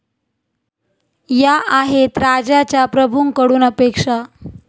या आहेत राज्याच्या प्रभूंकडून अपेक्षा